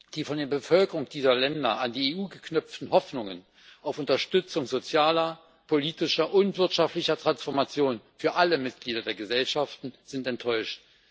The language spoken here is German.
Die von den Bevölkerungen dieser Länder an die EU geknüpften Hoffnungen auf Unterstützung sozialer, politischer und wirtschaftlicher Transformation für alle Mitglieder der Gesellschaften sind enttäuscht.